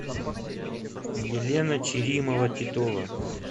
елена черимова титова